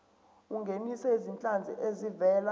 ungenise izinhlanzi ezivela